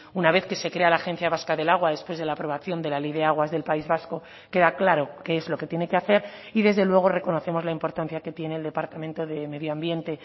una vez que se crea la agencia vasca del agua después de la aprobación de la ley de aguas del país vasco queda claro qué es lo que tiene que hacer y desde luego reconocemos la importancia que tiene el departamento de medio ambiente